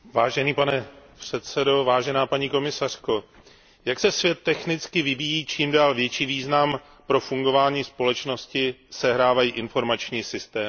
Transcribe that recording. Pane předsedající, paní komisařko, jak se svět technicky vyvíjí, čím dál větší význam pro fungování společnosti sehrávají informační systémy.